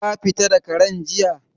Ka fita da Karen jiya?